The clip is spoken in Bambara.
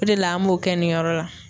O de la an b'o kɛ nin yɔrɔ la.